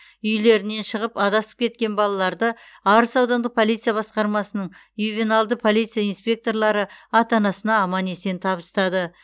үйлерінен шығып адасып кеткен балаларды арыс аудандық полиция басқармасының ювеналды полиция инспекторлары ата анасына аман есен табыстады